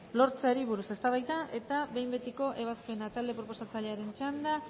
lortzeari buruz eztabaida eta behin betiko ebazpena talde proposatzailearen txanda